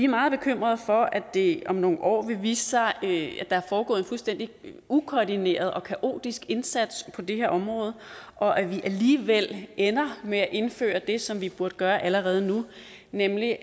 meget bekymrede for at det om nogle år vil vise sig at der er foregået en fuldstændig ukoordineret og kaotisk indsats på det her område og at vi alligevel ender med at indføre det som vi burde gøre allerede nu nemlig